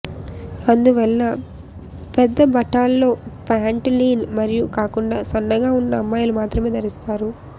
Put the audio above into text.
అందువల్ల పెద్ద బఠాల్లో ప్యాంటు లీన్ మరియు కాకుండా సన్నగా ఉన్న అమ్మాయిలు మాత్రమే ధరిస్తారు